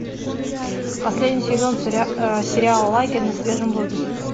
последний сезон сериала лагерь на свежем воздухе